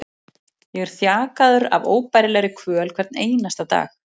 Ég er þjakaður af óbærilegri kvöl hvern einasta dag.